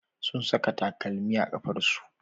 Sun saka takalmi a kafarsu.